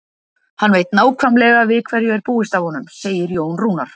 Hann veit nákvæmlega við hverju er búist af honum, segir Jón Rúnar.